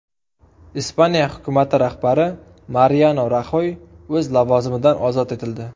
Ispaniya hukumati rahbari Mariano Raxoy o‘z lavozimidan ozod etildi.